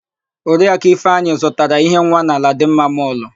Oriakụ Ifeanyị zụtara íhé nwa na Aladịmma mọlụ.